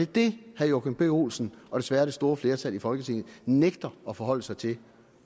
det herre joachim b olsen og desværre det store flertal i folketinget nægter at forholde sig til